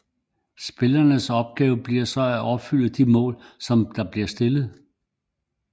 Spillerens opgave bliver så at opfylde de mål som bliver stillet